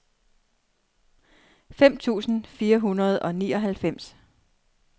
fem tusind fire hundrede og nioghalvfems